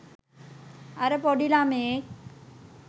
අර පොඩි ළමයෙක්